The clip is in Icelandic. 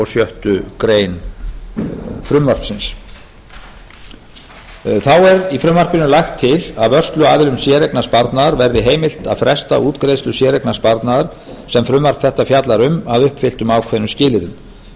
sjöttu greinar frumvarpsins þá er í frumvarpinu lagt til að vörsluaðilum séreignarsparnaðar verði heimilt að fresta útgreiðslu séreignarsparnaðar sem frumvarp þetta fjallar um að uppfylltum ákveðnum skilyrðum skilyrði